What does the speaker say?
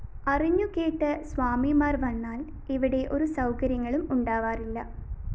അറിഞ്ഞു കേട്ട് സ്വാമിമാര്‍ വന്നാല്‍ ഇവിടെ ഒരു സൗകര്യങ്ങളും ഉണ്ടാവാറില്ല